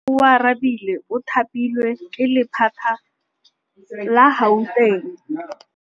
Oarabile o thapilwe ke lephata la Gauteng.